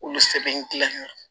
Olu sɛbɛn gilan